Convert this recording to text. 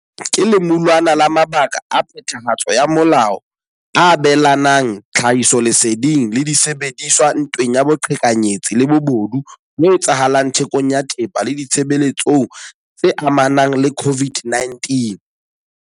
Ke lemulwana la makala a phethahatso ya molao a abelanang tlhahisoleseding le disebediswa ntweng ya boqhekanyetsi le bobodu bo etsahalang thekong ya thepa le ditshebeletsong tse amanang le COVID-19.